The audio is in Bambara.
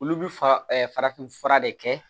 Olu bi fa farafin fura de kɛ